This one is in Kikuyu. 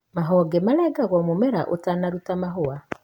mahonge marengagwo mũmera ũtanaruta mahũa.